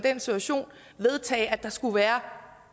en situation vedtage at der skulle være